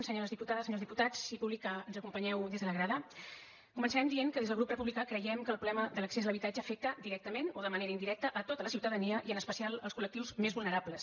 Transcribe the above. senyores diputades senyors diputats i públic que ens acompanyeu des de la grada començarem dient que des del grup republicà creiem que el problema de l’accés a l’habitatge afecta directament o de manera indirecta a tota la ciutadania i en especial als col·lectius més vulnerables